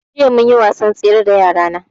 Jiya munyi wasan tsere da yara na